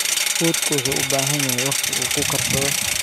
Fuudku wuxuu u baahan yahay waqti uu ku karsado.